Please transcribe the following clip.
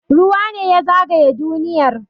Ruwa ne ya zagaye duniyar